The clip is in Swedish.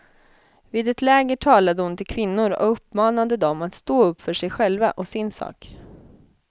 Vid ett läger talade hon till kvinnor och uppmanade dem att stå upp för sig själva och sin sak.